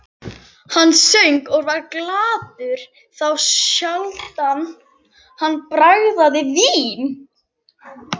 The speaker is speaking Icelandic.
Hann söng og var glaður, þá sjaldan hann bragðaði vín.